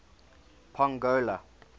pongola